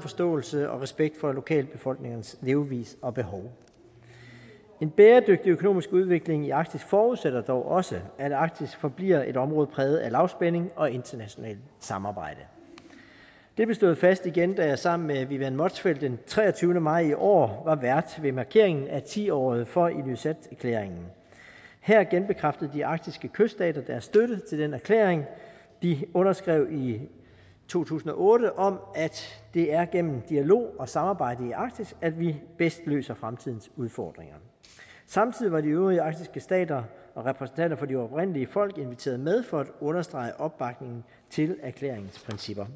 forståelse og respekt for lokalbefolkningernes levevis og behov en bæredygtig økonomisk udvikling i arktis forudsætter dog også at arktis forbliver et område præget af lavspænding og internationalt samarbejde det blev slået fast igen da jeg sammen med vivian motzfeldt den treogtyvende maj i år var vært ved markeringen af tiåret for ilulissaterklæringen her genbekræftede de arktiske kyststater deres støtte til den erklæring de underskrev i to tusind og otte om at det er igennem dialog og samarbejde i arktis at vi bedst løser fremtidens udfordringer samtidig var de øvrige arktiske stater og repræsentanterne for de oprindelige folk inviteret med for at understrege opbakningen til erklæringens principper